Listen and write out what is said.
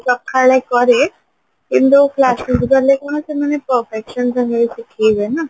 ସଖାଳେ କରେ କିନ୍ତୁ classକୁ ଗଲେ କଣ ସେମାନେ ଶିଖେଇବେ ନା